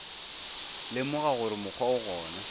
lemoga gore mokgwa o gona